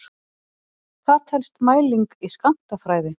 Hvað telst mæling í skammtafræði?